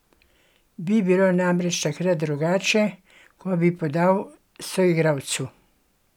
Bi bilo namreč takrat drugače, ko bi podal soigralcu?